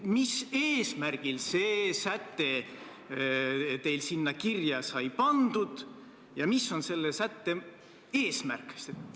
Mis eesmärgil see säte teil sinna kirja sai pandud ja mis on selle sätte eesmärk?